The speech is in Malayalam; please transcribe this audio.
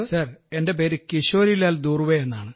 സർ എൻറെ പേര് കിശോരിലാൽ ദൂർവെ എന്നാണ്